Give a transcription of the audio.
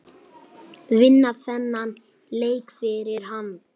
Vinna þennan leik fyrir hann!